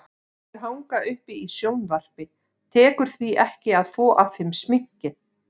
Sumir hanga uppi í sjónvarpi, tekur því ekki að þvo af þeim sminkið.